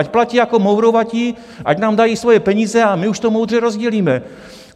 Ať platí jako mourovatí, ať nám dají svoje peníze a my už to moudře rozdělíme!